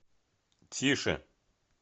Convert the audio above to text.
тише